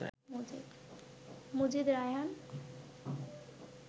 Majid, Raihan